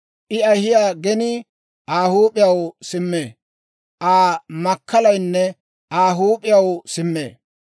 I ahiyaa genii Aa huup'iyaw simmee. Aa makkalaynne Aa huup'iyaw simmee.